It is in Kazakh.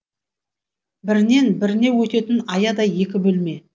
бірінен біріне өтетін аядай екі бөлме